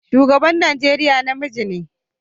Shugaban Najeriya namiji ne.